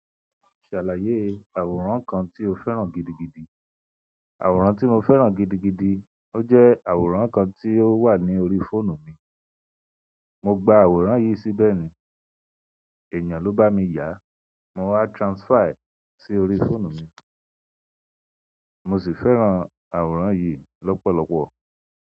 Ṣàlàyé àwòrán kan tí o fẹ́ràn gidigidi. Àwòrán tí mo fẹ́ràn gidigidi, ó jẹ́ àwòrán kan tí ó wà ní orí fóònù mi. Mo gba àwòrán yìí síbẹ̀ ni, èèyàn ló bá mi yàá, mo wá transfer ẹ sí orí fóònù mi. Mo sì fẹ́ràn àwòrán yìí lọ́pọ̀lọpọ̀.